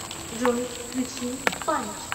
джой включи панч